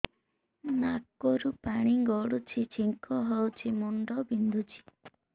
ନାକରୁ ପାଣି ଗଡୁଛି ଛିଙ୍କ ହଉଚି ମୁଣ୍ଡ ବିନ୍ଧୁଛି